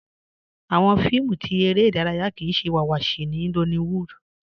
Awọn fíìmù tí èrè idaraya kíí ṣẹ iwáwáṣí ní Nollywood